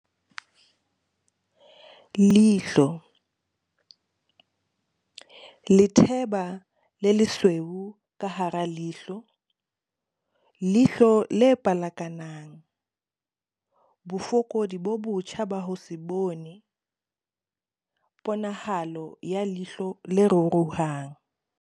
Leihlo. Letheba le lesweu ka hara leihlo, leihlo le pelekanang, bofokodi bo botjha ba ho se bone, ponahalo ya leihlo le ruruhang